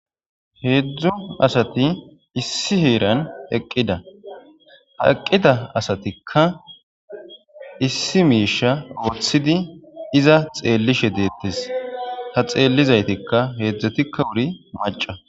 heedzdzo asati issi heeran eqqida ha eqqida asatikka issi miisha wothidi iza xeellishe deettes ha xeellizaytikka heedzdzetikka wuri maca